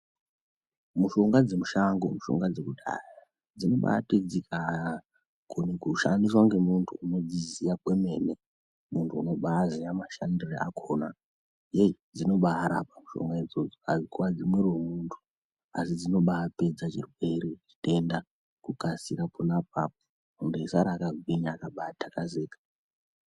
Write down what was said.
Mushonga dze mushango mushonga dze kudhaya dzinobaiti dzika kone kushandiswa nge muntu unodzi ziya kwemene muntu unobai ziya mashandire akona hei dzinobai rapa mushonga idzodzo adzi kwadzi mwiri we muntu asi dzinobai pedza chirwere chitenda ku kasira pona apapo muntu eyi sara aka gwinya akabai takazika.